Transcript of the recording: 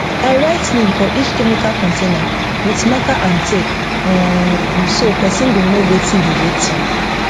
i write name for each chemical container with marker and tape um so person go know wetin be wetin